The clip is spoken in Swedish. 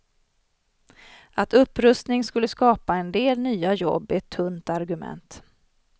Att upprustning skulle skapa en del nya jobb är ett tunt argument.